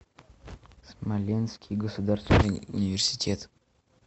смоленский государственный университет